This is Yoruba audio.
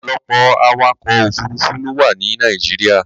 Ọ̀pọ̀lọpọ̀ awakọ̀ òfuruufú ló wà ní Nàìjíríà.